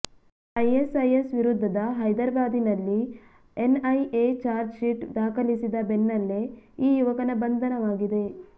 ISIS ವಿರುದ್ಧದ ಹೈದರಾಬಾದಿನಲ್ಲಿ N IA charge sheet ದಾಖಲಿಸಿದ ಬೆನ್ನಲ್ಲೇ ಈ ಯುವಕನ ಬಂಧನವಾಗಿದೆ